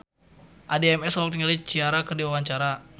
Addie MS olohok ningali Ciara keur diwawancara